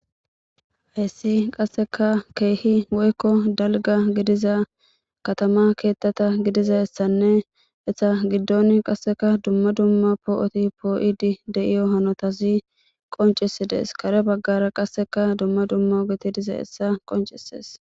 Hayssi qasseka keehi woykko dalga gidiza katama keettata gidizaessanne hessa giddon qasseka dumma dumma poo7oti poo7idi de7iyo hanotazi qoncisidees kare baggara qasseka dumma dumma ogeti diza hessa qoncisees.